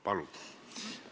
Palun!